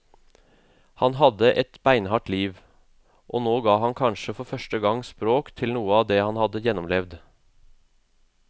Han hadde hatt et beinhardt liv, og nå ga han kanskje for første gang språk til noe av det han hadde gjennomlevd.